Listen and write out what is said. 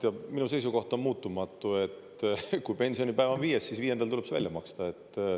Ja minu seisukoht on muutumatu: kui pensionipäev on viies, siis viiendal tuleb see välja maksta.